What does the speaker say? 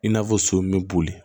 I n'a fɔ so min bɛ boli